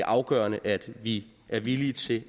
afgørende at vi er villige til